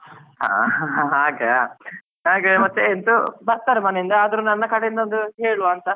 ಹಾಗಾ ಹಾಗೆ ಮತ್ತೆ ಇದು, ಬರ್ತಾರೆ ಮನೆಯಿಂದ ಆದ್ರೂ ನನ್ನ ಕಡೆಯಿಂದ ಒಂದು ಹೇಳುವ ಅಂತ.